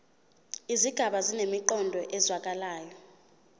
izigaba zinemiqondo ezwakalayo